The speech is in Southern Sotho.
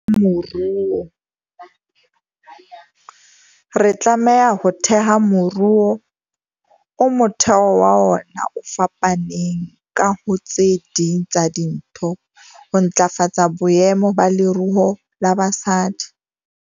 Re tlameha ho theha moruo o motheo wa ona o fapaneng ka, ho tse ding tsa dintho, ho ntlafatsa boemo ba leruo la basadi.